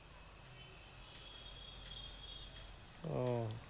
ও